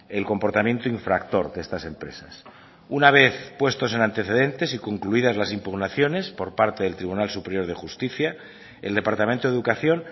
el comportamiento infractor de estas empresas una vez puestos en antecedentes y concluidas las impugnaciones por parte del tribunal superior de justicia el departamento de educación